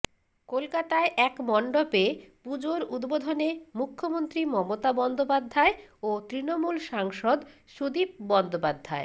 কলকাতায় এক মন্ডপে পুজোর উদ্বোধনে মুখ্যমন্ত্রী মমতা বন্দ্যোপাধ্যায় ও তৃণমূল সাংসদ সুদীপ বন্দ্যোপাধ্যায়